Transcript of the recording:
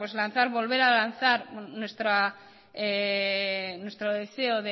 volver a lanzar nuestro deseo